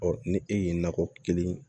ni e ye nakɔ kelen